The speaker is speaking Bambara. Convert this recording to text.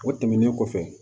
O tɛmɛnen kɔfɛ